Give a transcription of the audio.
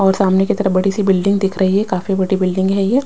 और सामने की तरफ बड़ी सी बिल्डिंग दिख रही हैं काफी बड़ी बिल्डिंग है ये।